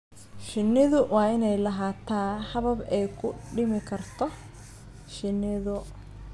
Shinnidu waa inay lahaataa habab ay ku dhimi karto shinidu.